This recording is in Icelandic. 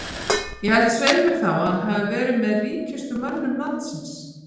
Ég held svei mér þá að að hann hafi verið með ríkustu mönnum landsins.